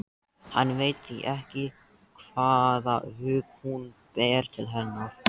Hann veit því ekki hvaða hug hún ber til hennar.